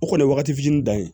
O kɔni ye wagati fitinin dan ye